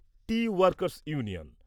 T workers union